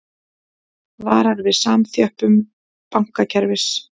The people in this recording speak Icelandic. Varar við samþjöppun bankakerfis